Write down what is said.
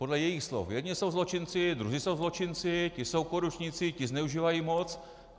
Podle jejich slov jedni jsou zločinci, druzí jsou zločinci, ti jsou korupčníci, ti zneužívají moc.